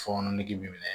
Fɔɔnɔ nege bi minɛ